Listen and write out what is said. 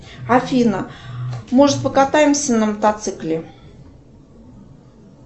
афина может покатаемся на мотоцикле